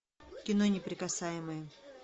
кино неприкасаемые